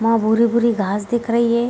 वहां भूरे-भूरे घास दिख रही है।